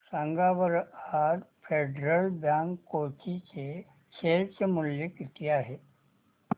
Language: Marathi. सांगा बरं आज फेडरल बँक कोची चे शेअर चे मूल्य किती आहे